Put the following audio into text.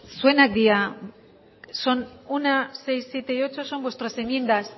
zuenak dira son uno seis siete y ocho son vuestras enmiendas